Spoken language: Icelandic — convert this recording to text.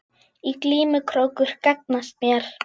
Í glímu krókur gagnast mér.